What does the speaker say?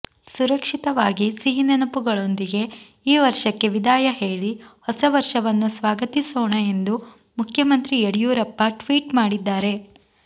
ಸುರಕ್ಷಿತವಾಗಿ ಸಿಹಿನೆನಪುಗಳೊಂದಿಗೆ ಈ ವರ್ಷಕ್ಕೆ ವಿದಾಯ ಹೇಳಿ ಹೊಸ ವರ್ಷವನ್ನು ಸ್ವಾಗತಿಸೋಣ ಎಂದು ಮುಖ್ಯಮಂತ್ರಿ ಯಡಿಯೂರಪ್ಪ ಟ್ವೀಟ್ ಮಾಡಿದ್ದಾರೆ